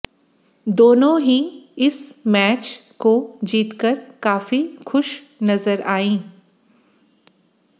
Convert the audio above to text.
दोनों ही इस मैच को जीतकर काफी खुश नजर आईं